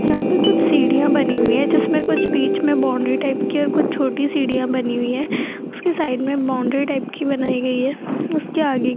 यहां पर कुछ सीढ़ियां बनी हुई है जिसमें कुछ बीच में बाउंड्री टाइप की और कुछ छोटी सीढ़ियां बनी हुई है उसके साइड में बाउंड्री टाइप की बनाई गई है उसके आगे --